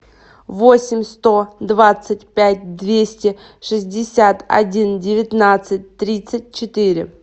восемь сто двадцать пять двести шестьдесят один девятнадцать тридцать четыре